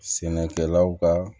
Sɛnɛkɛlaw ka